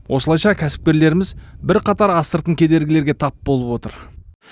осылайша кәсіпкерлеріміз бірқатар астыртын кедергілерге тап болып отыр